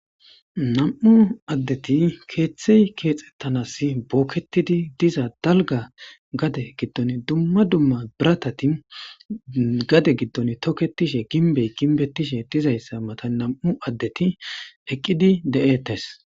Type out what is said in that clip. Nam,u addeti keeththey keexettanas bookketidi diza dalga gade giddon dumma dumma biratati gade giddon toketishe ginbey ginbetishe dizayssa mata nam7u addeti eqqidi de7ettes